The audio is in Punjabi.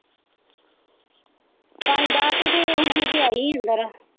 ਪਾਣੀ ਡਾਹ ਕੇ ਤੇ ਹੁਣੇ ਜਿਹੀ ਆਈ ਹੀ ਅੰਦਰ।